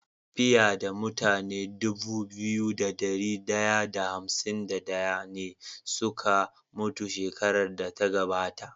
Fiya da mutane Dubu biyu da dari daya da hamsin da daya ne suka mutu shekarar da ta gabata